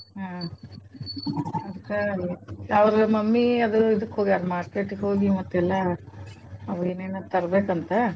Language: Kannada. ಹ್ಮ್ ಅದ್ಕ ಅವ್ರ mummy ಅದು ಇದಕ್ಕ್ ಹೋಗ್ಯಾರ್ market ಗ್ ಹೋಗಿ ಮತ್ತ್ ಎಲ್ಲಾ ಅವೇನೆನ ತರ್ಬೇಕಂತ.